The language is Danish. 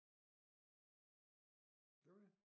Gjorde vi det